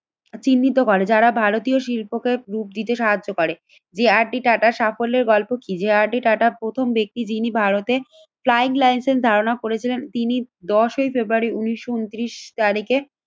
চিহ্নিত করে। যারা ভারতীয় শিল্পকে প্রুফ দিতে সাহায্য করে। যে আর ডি টাটা সাফল্যের গল্প কি? যে আর ডি টাটা প্রথম ব্যক্তি যিনি ভারতে ক্লাইন্টলাইন্স এর ধারণা করেছিলেন। তিনি দশই ফেব্রুয়ারি উন্নিশশো ঊনত্রিশ তারিখে